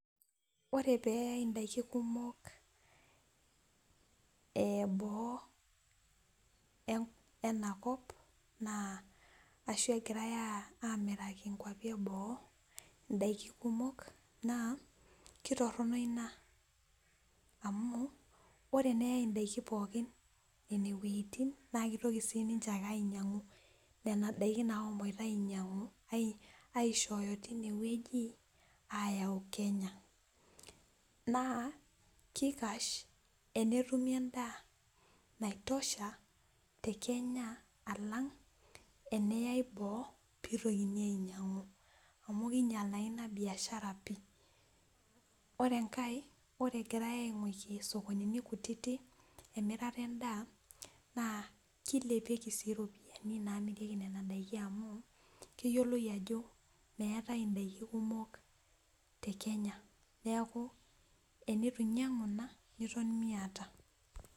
ore pee eyai ndaiki kumok boo enakop ashu engirae emiraki nkwapi eboo ndaiki kumok naa kitoronok ina amu ootenayi ndaiki pookin ineweji naa kitoki ake siininche ainyangu nena daiki nashomo aishooyo tineweji ayau kenya , naa kikash tenetumi endaa naitosha tekenya alang teneyae boo pee eitokini ainyangu amu kinyaal naa ina biashara pi.ore enkae ore engirae ainguraki sokonini kutitik emirata endaa naa kilepieki sii ropiyiani namirieki ina daa amu keyioloi ajo meate ndaiki kumok tekenya neeku tenitu inyangu ina niton miyata.